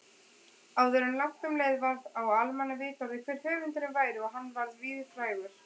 Áður en langt um leið varð á almannavitorði hver höfundurinn væri og hann varð víðfrægur.